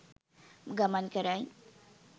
ගමන් කරයි.